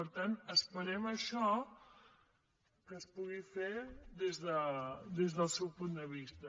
per tant esperem això que es pugui fer des del seu punt de vista